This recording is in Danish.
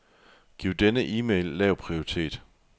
Giv denne e-mail lav prioritet.